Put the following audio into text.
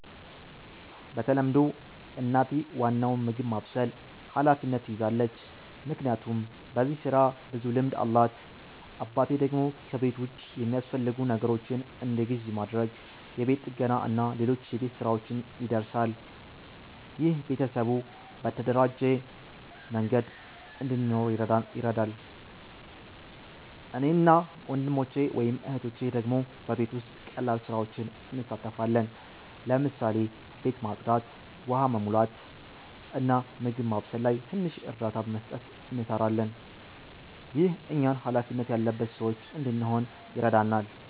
በተለምዶ እናቴ ዋናውን የምግብ ማብሰል ኃላፊነት ትይዛለች፣ ምክንያቱም በዚህ ስራ ብዙ ልምድ አላት። አባቴ ደግሞ ከቤት ውጭ የሚያስፈልጉ ነገሮችን እንደ ግዢ ማድረግ፣ የቤት ጥገና እና ሌሎች የቤት ሥራዎች ይደርሳል። ይህ ቤተሰቡ በተደራጀ መንገድ እንዲኖር ይረዳል። እኔ እና ወንድሞቼ/እህቶቼ ደግሞ በቤት ውስጥ ቀላል ስራዎች እንሳተፋለን። ለምሳሌ ቤት ማጽዳት፣ ውሃ መሙላት፣ እና በምግብ ማብሰል ላይ ትንሽ እርዳታ መስጠት እንሰራለን። ይህ እኛን ሃላፊነት ያለበት ሰዎች እንድንሆን ይረዳናል።